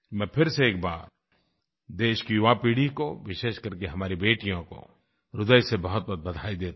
मैं फिर से एक बार देश की युवा पीढ़ी को विशेषकर के हमारी बेटियों को ह्रदय से बहुतबहुत बधाई देता हूँ